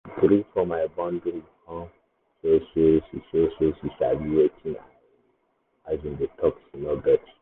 she gree for my boundary kon show say she show say she sabi wetin i um dey talk she no vex.